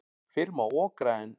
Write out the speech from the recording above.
Fyrr má okra en.